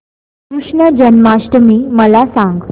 कृष्ण जन्माष्टमी मला सांग